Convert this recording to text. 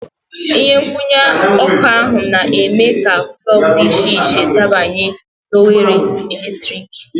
Ihe nkwụnye ọkụ na-eme ka plọg dị iche iche dabanye oghere eletrik.